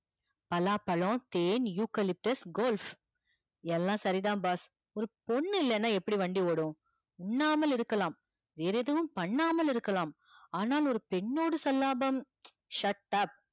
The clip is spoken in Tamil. பலாப்பழம் தேன் eucalyptus எல்லாம் சரிதா boss ஒரு பொண்ணு இல்லனா எப்படி வண்டி ஓடும் உண்ணாமல் இருக்கலாம் வேற எதுவும் பண்ணாமல் இருக்கலாம் ஆனால் ஒரு பெண்ணோடு shut up